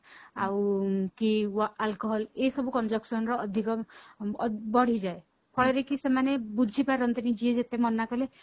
ଆଉ କି alcohol ଏଇ ସବୁ consumption ର ଅଧିକ ବଢିଯାଏ ଫଳରେ କି ସେମାନେ ବୁଝି ପାରନ୍ତି ନି ଯିଏ ଯେତେ ମନା କଲେ